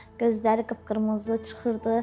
Gözləri qıpqırmızı çıxırdı.